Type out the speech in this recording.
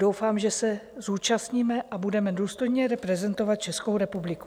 Doufám, že se zúčastníme a budeme důstojně reprezentovat Českou republiku.